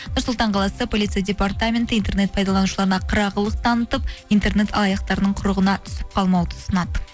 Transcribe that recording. нұр сұлтан қаласы полицей департаменті интернет пайдаланушыларына қырағылық танытып интернет алаяқтарының құрығына түсіп қалмауды ұсынады